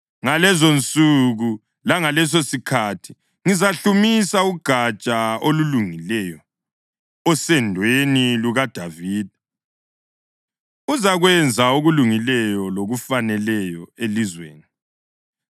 Ngalezonsuku langalesosikhathi ngizahlumisa uGatsha olulungileyo osendweni lukaDavida; uzakwenza okulungileyo lokufaneleyo elizweni.